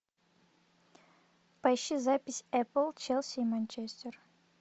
поищи запись апл челси и манчестер